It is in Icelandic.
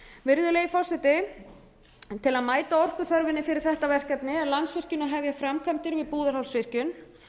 virðulegi forseti til að mæta orkuþörfinni fyrir þetta verkefni er landsvirkjun að hefja framkvæmdir við búðarhálsvirkjun